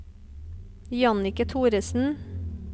Jannicke Thoresen